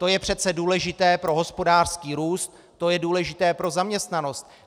To je přece důležité pro hospodářský růst, to je důležité pro zaměstnanost.